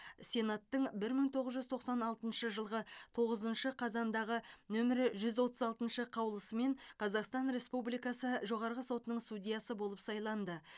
сенаттың бір мың тоғыз жүз тоқсан алтыншы жылғы тоғызыншы қазандағы нөмірі жүз отыз алтыншы қаулысымен қазақстан республикасы жоғарғы сотының судьясы болып сайланды